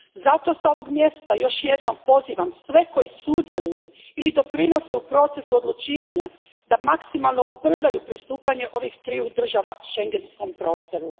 Zato s ovog mjesta još jednom pozivam sve koji sudjeluju ili doprinose u procesu odlučivanja da maksimalno ubrzaju pristupanje ovih triju država schengenskom prostoru.